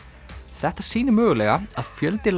þetta sýnir mögulega að fjöldi